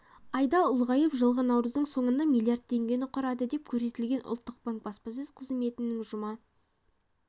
айда ұлғайып жылғы наурыздың соңында млрд теңгені құрады деп көрсетілген ұлттық банк баспасөз қызметінің жұма